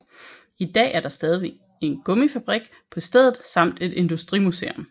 I dag er der stadig en gummifabrik på stedet samt et industrimuseum